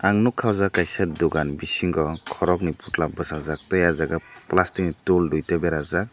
ang nugkha aw jaaga kaisa dugan bisingo korokni putla bwsajak tai aw jaga plastic ni tool duita berajak.